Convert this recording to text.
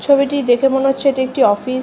ছবিটি দেখে মনে হচ্ছে এটি একটি অফিস ।